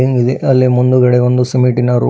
ದೆ ಅಲ್ಲಿ ಮುಂದುಗಡೆ ಒಂದು ಸಿಮೆಂಟಿನ ರೋ--